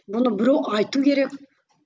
бұны біреу айту керек